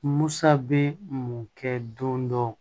Musa bɛ mun kɛ don dɔ